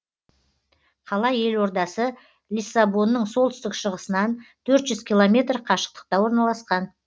қала елордасы лиссабонның солтүстік шығысынан төрт жүз километр қашықтықта орналасқан